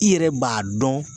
I yɛrɛ b'a dɔn.